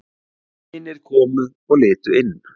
Vinir komu og litu inn.